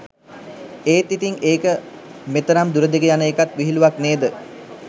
ඒත් ඉතිං ඒක මෙතරම් දුර දිග යන ඒකත් විහිළුවක් නේද?